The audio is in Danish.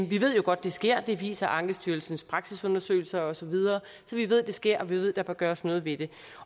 vi ved jo godt at det sker det viser ankestyrelsens praksisundersøgelser og så videre så vi ved at det sker og vi ved at der bør gøres noget ved det